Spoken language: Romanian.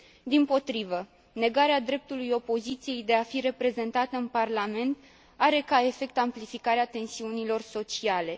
Dimpotrivă, negarea dreptului opoziției de a fi reprezentată în parlament are ca efect amplificarea tensiunilor sociale.